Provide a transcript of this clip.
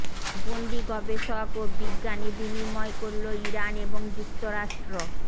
বন্দি গবেষক ও বিজ্ঞানী বিনিময় করল ইরান ও যুক্তরাষ্ট্র